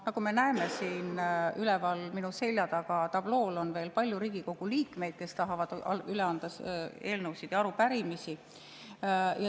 Nagu me näeme, siin üleval minu selja taga tablool on veel palju Riigikogu liikmeid, kes tahavad üle anda eelnõusid ja arupärimisi.